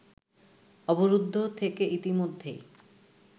অবরুদ্ধ থেকে ইতিমধ্যেই